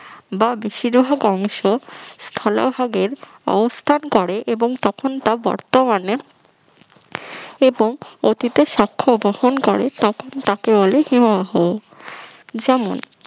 বা বেশিরভাগ অংশ স্থলভাগের অবস্থান করে অবস্থান করে এবং তখন তা বর্তমানে এবং অতীতের সাক্ষ্য বহন করে তাকে বলে হিমবাহ যেমন